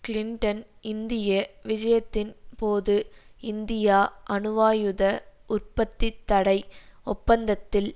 Clinton இந்திய விஜயத்தின் போது இந்தியா அணுவாயுத உற்பத்தி தடை ஒப்பந்தத்தில்